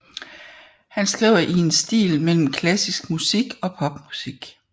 Han skriver i en stil mellem klassisk musik og pop musik